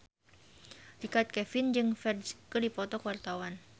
Richard Kevin jeung Ferdge keur dipoto ku wartawan